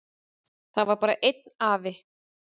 Það var bara einn afi.